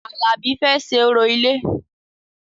Alabi fẹ́ ṣe orò ilé